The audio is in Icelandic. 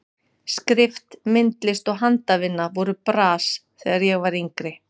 Skrift, myndlist og handavinna voru bras þegar ég var yngri.